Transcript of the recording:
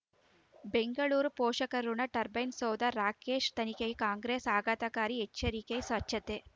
ಬೆಂಗಳೂರು ಪೋಷಕಋಣ ಟರ್ಬೈನು ಸೌಧ ರಾಕೇಶ್ ತನಿಖೆಗೆ ಕಾಂಗ್ರೆಸ್ ಆಘಾತಕಾರಿ ಎಚ್ಚರಿಕೆ ಸ್ವಚ್ಛತೆ